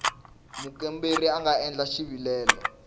mukomberi a nga endla xivilelo